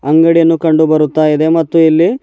ಅಂಗಡಿಯನ್ನು ಕಂಡು ಬರುತ್ತಾ ಇದೆ ಮತ್ತು ಇಲ್ಲಿ--